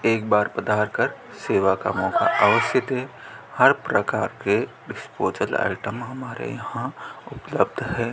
एक बार पधार कर सेवा का मौका अवश्य दें हर प्रकार के डिस्पोजल आइटम हमारे यहां उपलब्ध है।